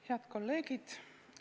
Head kolleegid!